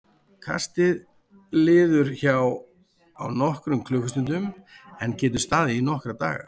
Kastið liður hjá á nokkrum klukkustundum en getur staðið í nokkra daga.